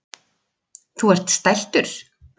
Þú ert stæltur.